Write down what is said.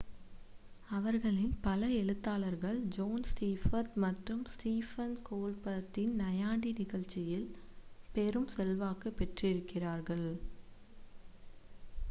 அவர்களின் பல எழுத்தாளர்கள் ஜோன் ஸ்டீவர்ட் மற்றும் ஸ்டிஃபன் கோல்பர்ட்டின் நையாண்டி நிகழ்ச்சியில் பெரும் செல்வாக்கு பெற்றிருக்கிறார்கள்